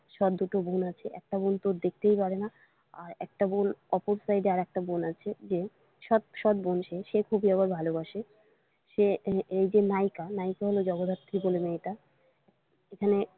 সদ দুটো বোন আছে একটা বোন তো দেখতেই পারে না আর একটা বোন অপর side এ আর একটা বোন আছে যে সদ বোন সে খুবই আবার ভালোবাসে সে এই যে নায়িকা নায়িকা হলো জগদ্ধাত্রী বলে মেয়েটা এখানে।